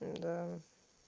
да